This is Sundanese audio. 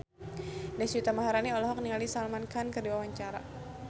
Deswita Maharani olohok ningali Salman Khan keur diwawancara